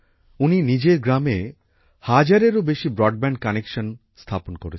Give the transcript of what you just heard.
উনি নিজের গ্রামে হাজারেরও বেশি ব্রডব্যান্ড কানেকশানের স্থাপন করেছেন